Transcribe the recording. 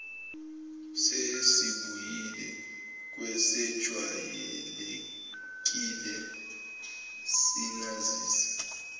sesibuyele kwesejwayelekile sinazise